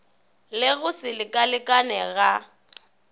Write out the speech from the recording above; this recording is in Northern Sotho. le go se lekalekane ga